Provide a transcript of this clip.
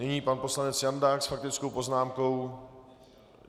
Nyní pan poslanec Jandák s faktickou poznámkou.